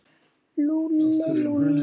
Lúlli, Lúlli.